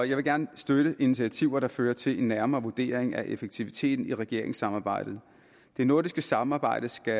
jeg vil gerne støtte initiativer der fører til en nærmere vurdering af effektiviteten i regeringssamarbejdet det nordiske samarbejde skal